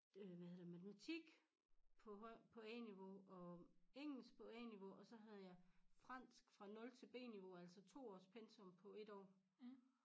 Øh hvad hedder det matematik på høj på A-niveau og engelsk på A-niveau og så havde jeg fransk fra nul til B-niveau altså 2 års pensum på ét år